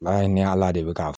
O y'a ye ni ala de bɛ ka